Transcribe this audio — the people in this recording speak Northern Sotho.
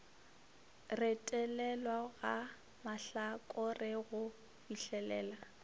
retelelwa ga mahlakore go fihlelela